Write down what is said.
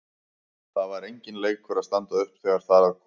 Það var enginn leikur að standa upp þegar þar að kom.